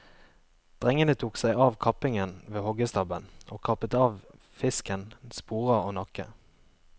Drengene tok seg av kappingen ved hoggstabben og kappet av fisken sporer og nakke.